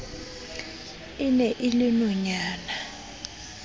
e ne e le nonyana